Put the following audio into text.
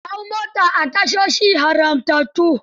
Kar ka hau mota a tashoshi haramtattu.